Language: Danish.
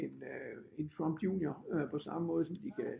En Trump junior på samme måde som de kan